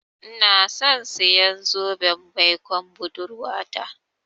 Inason siyan zoben baikon budurwata.